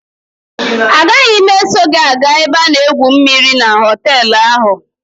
A gaghị m eso gị aga ebe a na-egwu mmịrị na họtelụ ahụ.